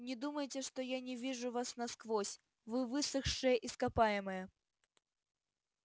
не думайте что я не вижу вас насквозь вы высохшее ископаемое